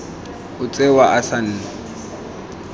o tsewa a se na